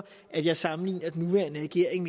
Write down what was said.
at jeg sammenligner den nuværende regering